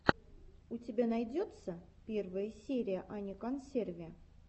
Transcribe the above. у тебя найдется первая серия ани консерви